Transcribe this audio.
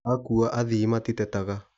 Akua athii matitetaga.